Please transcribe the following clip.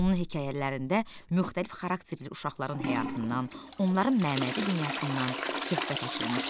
Onun hekayələrində müxtəlif xarakterli uşaqların həyatından, onların mənəvi dünyasından söhbət açılmışdı.